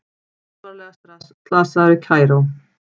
Alvarlega slasaður í Kaíró